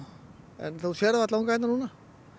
en þú sérð varla unga hérna núna